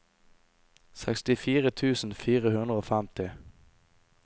sekstifire tusen fire hundre og femti